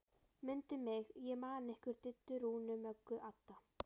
Mundu mig, ég man ykkur Diddu, Rúnu, Möggu, Adda